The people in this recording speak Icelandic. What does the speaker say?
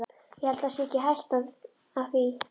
Ég held það sé ekki hætta á því.